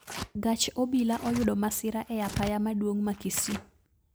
Gach obila oyudo masira e apaya maduong` ma kisii